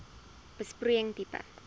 besproeiing tipe